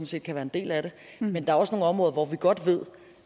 set kan være en del af det men der er også nogle områder hvor vi godt ved